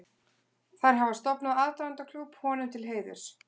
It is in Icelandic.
Þær hafa stofnað aðdáendaklúbb honum til heiðurs.